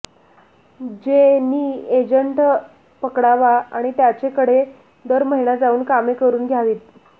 ज्येँ नी एक एजंट पकडावा आणि त्याचेकडे दर महिना जाऊन कामे करून घ्यावीत